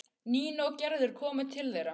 Nína og Gerður komu til þeirra.